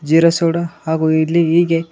jeera soda ಹಾಗು ಇಲ್ಲಿ ಹೀಗೆ--